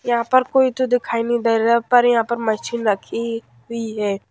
यहां पर कोई तो दिखाई नहीं दे रहा पर यहां पर मशीन रखी हुई है।